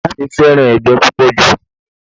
Ìyá mi fẹ́ràn ẹgbẹ́ púpọ̀ jù